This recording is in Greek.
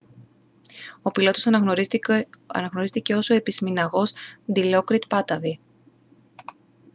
ο πιλότος αναγνωρίστηκε ως ο επισμηναγός ντιλόκριτ πάτταβι